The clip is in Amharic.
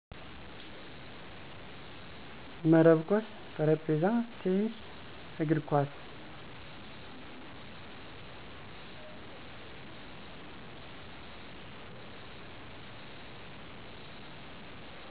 መረብ ኮስ ,ጠረጴዛ ቴንስ, እግር ኮስ